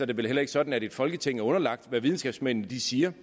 det vel heller ikke sådan at et folketing er underlagt hvad videnskabsmændene siger